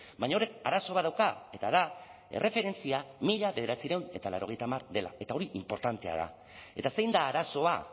baina horrek arazo bat dauka eta da erreferentzia mila bederatziehun eta laurogeita hamar dela eta hori inportantea da eta zein da arazoa